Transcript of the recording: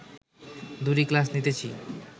দুটি ক্লাস নিতেছি